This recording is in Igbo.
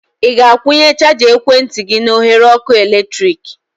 Ị ga-akwunye chaja ekwentị gị na oghere ọkụ eletrik?